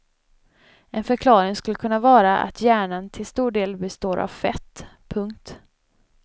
En förklaring skulle kunna vara att hjärnan till stor del består av fett. punkt